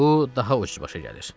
Bu daha ucuz başa gəlir.